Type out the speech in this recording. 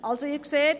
Sie sehen: